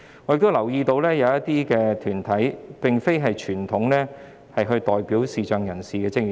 我亦留意到，社會近期出現了一些非傳統上代表視障人士的團體。